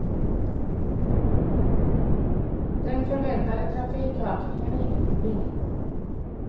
Den förväntade trafikökningen är inget problem.